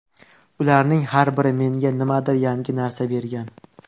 Ularning har biri menga nimadir yangi narsa bergan.